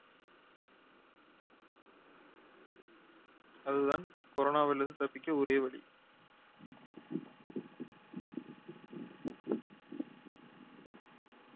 அது தான் corona வில் இருந்து தப்பிக்க ஒரே வழி.